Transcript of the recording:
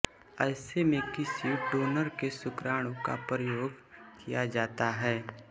ऐसे में किसी डोनर के शुक्राणु का प्रयोग किया जाता है